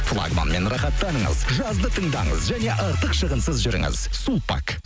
флагманмен рахаттаныңыз жазды тыңдаңыз және артық шығынсыз жүріңіз сулпак